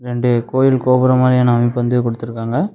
ரெண்டு கோயில் கோபுரம் மாதிரி அமைப்பு வந்து குடுத்திருக்காங்க.